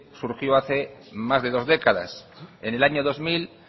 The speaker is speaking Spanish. surgió hace más de dos décadas en el año dos mil